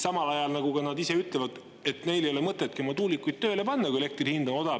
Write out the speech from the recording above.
Samal ajal, nagu nad ise ütlevad, ei ole neil mõtet tuulikuid tööle pannagi, kui elektri hind on odav.